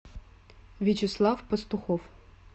вячеслав пастухов